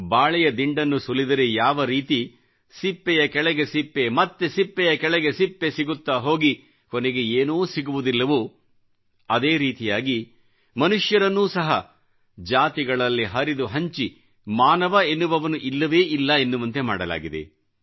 ಬಾಳೆಯ ದಿಂಡನ್ನು ಸುಲಿದರೆ ಯಾವ ರೀತಿ ಸಿಪ್ಪೆಯ ಕೆಳಗೆ ಸಿಪ್ಪೆಮತ್ತೆ ಸಿಪ್ಪೆಯ ಕೆಳಗೆ ಸಿಪ್ಪೆ ಸಿಗುತ್ತಾ ಹೋಗಿ ಕೊನೆಗೆ ಏನೂ ಸಿಗುವುದಿಲ್ಲವೋ ಅದೇ ರೀತಿಯಾಗಿ ಮನುಷ್ಯರನ್ನೂ ಸಹ ಜಾತಿಗಳಲ್ಲಿ ಹರಿದು ಹಂಚಿ ಮಾನವ ಎನ್ನುವವನು ಇಲ್ಲವೇ ಇಲ್ಲ ಎನ್ನುವಂತೆ ಮಾಡಲಾಗಿದೆ